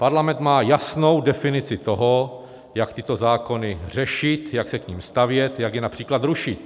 Parlament má jasnou definici toho, jak tyto zákony řešit, jak se k nim stavět, jak je například rušit.